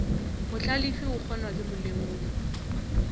mohlalefi o kgonwa ke molemogi